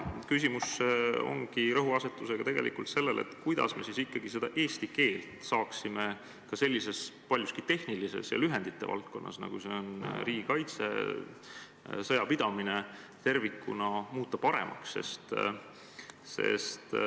Küsimuse rõhuasetus on tegelikult sellel, kuidas me siis ikkagi saaksime eesti keelt sellises paljuski tehnilises ja lühendirikkas valdkonnas, nagu seda on riigikaitse, sõjapidamine, tervikuna paremaks muuta.